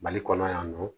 Mali kɔnɔ yan nɔ